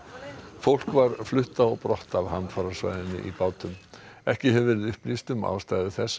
fólk var flutt á brott af hamfarasvæðinu í bátum ekki hefur verið upplýst um ástæðu þess að